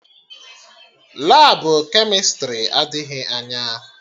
Labụ kemịstrị adịghị anya